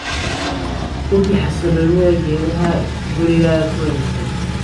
Hubi xasiloonida geedaha guriga ku wareegsan"